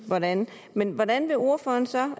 hvordan men hvordan vil ordføreren så